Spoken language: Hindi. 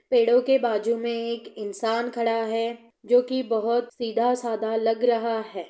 पेड़ो के बाजु मै एक इंसान खड़ा है जो की बहुत सीधा-साधा लग रहा है।